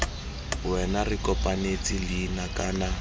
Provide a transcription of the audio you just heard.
wena re kopanetse leina kana